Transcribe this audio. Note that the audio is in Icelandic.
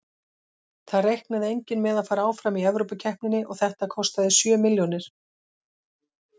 Það reiknaði enginn með að fara áfram í Evrópukeppninni og þetta kostaði sjö milljónir.